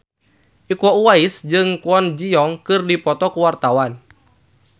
Iko Uwais jeung Kwon Ji Yong keur dipoto ku wartawan